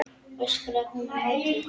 öskraði hún á móti.